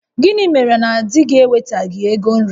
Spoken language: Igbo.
Gịnị mere na di gị ewetaghị ego nri?